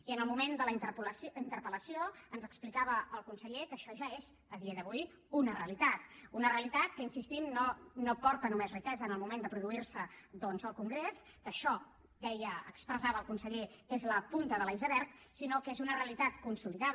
i en el moment de la interpel·lació ens explicava el conseller que això ja és a dia d’avui una realitat una realitat que hi insistim no aporta només riquesa en el moment de produir se el congrés això deia expressava el conseller és la punta de l’iceberg sinó que és una realitat consolidada